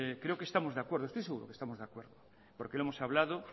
creo que estamos de acuerdo estoy seguro que estamos de acuerdo porque lo hemos hablado